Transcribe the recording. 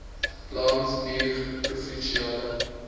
laingsburgprovinsiale